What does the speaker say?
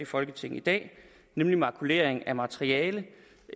folketinget i dag nemlig makuleringen af materiale